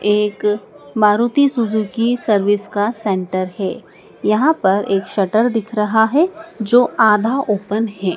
एक Maruti Suzuki service का centre हैं। यहाँ पर एक शटर दिख रहा हैं जो आधा ओपन हैं।